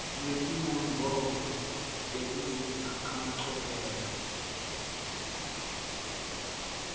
netimongcondvo tekuzuza emacophelo